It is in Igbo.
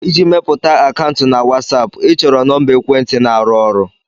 Iji mepụta akaụntụ na Watsupu, ịchọrọ nọmba ekwentị na-arụ ọrụ